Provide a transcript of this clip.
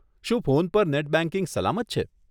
શું ફોન પર net banking સલામત છે?